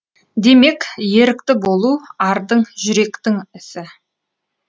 демек ерікті болу ардың жүректің ісі